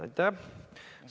Aitäh!